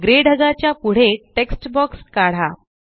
grey ढगाच्या पुढे text box काढा